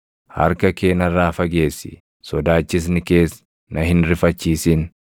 Harka kee narraa fageessi; sodaachisni kees na hin rifachiisin.